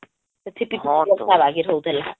ହଁ